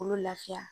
K'olu lafiya